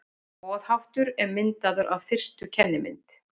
Boðháttur er myndaður af fyrstu kennimynd.